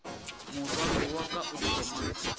morwalo wa ka o thoma